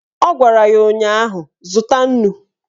Ọ gwara ya ụnyaahụ "Zụta nnu"!